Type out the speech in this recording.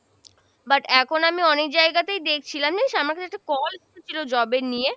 but এখন আমি অনেক জায়গাতেই দেখছি আমার কাছে একটা call এসেছিল job এর নিয়ে,